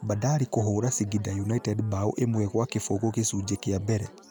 Bandari kũvũũra Singida ũnited mbao imwi gwa kibũgu gicujĩ kia mbele